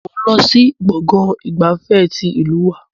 Mo ń lọ sí gbọ̀ngàn ìgbafẹ́ tí ìlú wa.